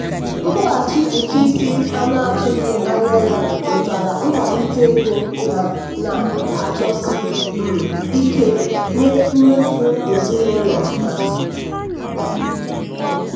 nkwụghachi ụtụ isi a na-atụghị anya ya wetara nkwalite ego ha na-achọsi um ike nye mmefu ezinụlọ ha.